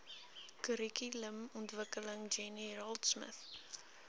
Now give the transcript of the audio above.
kurrikulumontwikkeling jenny raultsmith